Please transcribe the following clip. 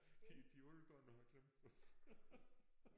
De de er alle gået og har glemt os